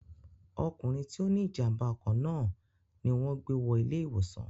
ọkùnrin tí ó ní ìjàmbá ọkọ̀ náà ni wọn gbé wọ ilé ìwòsàn